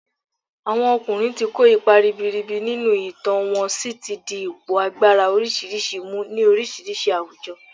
Àwọn ọkùnrin ti kó ipa ribiribi nínú ìtàn wọ́n si ti di ipò agbára oríṣiríṣi mu ni oríṣiríṣi àwùjọ